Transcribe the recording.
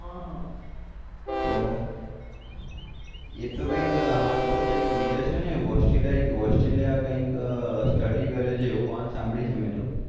તો એ તો કૈક હાલ બીજે કૈક છે ને